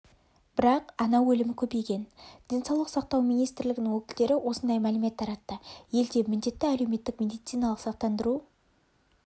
бірақ ана өлімі көбейген денсаулық сақтау министрлігінің өкілдері осындай мәлімет таратты елде міндетті әлеуметтік медициналық сақтандыру